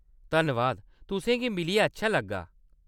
धन्नवाद, तुसेंगी मिलियै अच्छा लग्गा!